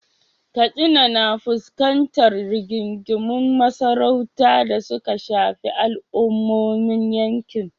Katsina na fuskantar rigingimun masarautu da suka shafi al’ummomin yankin.